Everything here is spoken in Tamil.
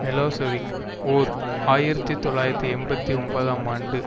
மிலோசெவிக் ஓர் ஆயிரத்தி தொள்ளாயிரத்தி எண்பத்தி ஒன்பதாம் ஆண்டு